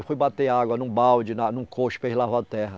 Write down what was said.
Eu fui bater água num balde, num cocho para eles lavar a terra.